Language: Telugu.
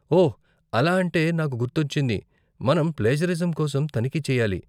ఓ! అలా అంటే నాకు గుర్తొచ్చింది, మనం ప్లేజరిజం కోసం తనిఖీ చెయ్యాలి.